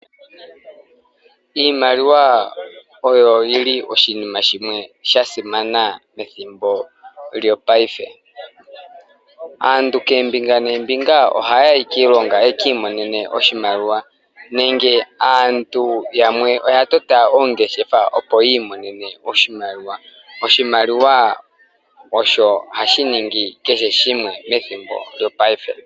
Iimaliwa oyo yili oshinima shimwe shasimana methimbo lyopaife. Aantu koombinga noombinga ohaya yi kiilonga yekiimonene oshimaliwa nenge aantu yamwe oyatota oongeshefa opo yiimonene oshimaliwa. Oshimaliwa osho hashiningi keheshimwe methimbo lyopaife.